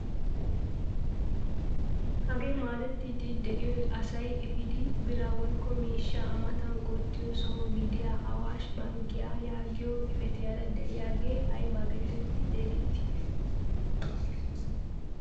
Hagee maadettiidi de'iyoy asay epiidi biraa woykko miishshaa a matan qottiyoo soho gidiyaa awaashshe bankkiyaa yaagiyaa xifatiyaara de'iyaagee ayba getetti xeegettii?